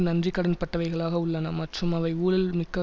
நன்றி கடன் பட்டவைகளாக உள்ளன மற்றும் அவை ஊழல் மிக்க